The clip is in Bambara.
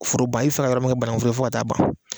Foro ban i bɛ fɛ ka yɔrɔ min kɛ banankun foro ye fɔ ka ta'a ban.